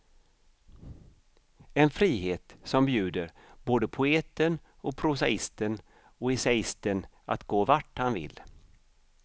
En frihet som bjuder både poeten och prosaisten och essäisten att gå vart han vill.